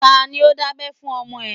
Tani ó dábẹ́ fún ọmọ ẹ?